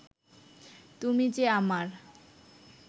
তুমি যে আমার